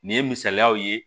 Nin ye misaliyaw ye